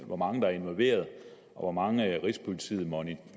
hvor mange der er involveret og hvor mange rigspolitiet moniterer